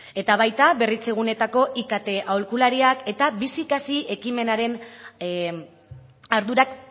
eta baita berritzegunetako ikt aholkulariak eta bizikasi ekimenaren ardurak